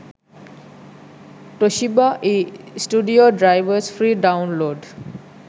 toshiba e studio drivers free download